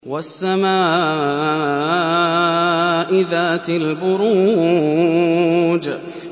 وَالسَّمَاءِ ذَاتِ الْبُرُوجِ